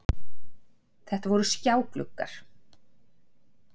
Þetta voru skjágluggar